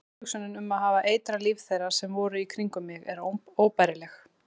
Tilhugsunin um að hafa eitrað líf þeirra sem voru í kringum mig er óbærileg.